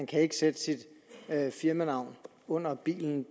kan sætte sit firmanavn under bilen